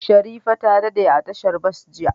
Sherifat ta dade a tashar bas jiya.